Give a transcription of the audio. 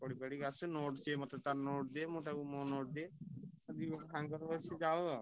ପଢି ପାଢି ଆସୁ ସେ ମତେ ତା note ଦିଏ ମୁଁ ତାକୁ ମୋ note ଦିଏ ସାଙ୍ଗରେ ବସି ଯାଉ ଆଉ।